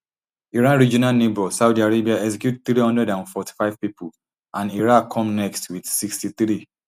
iran regional neighbour saudi arabia execute three hundred and forty-five pipo and iraq come next wit sixty-three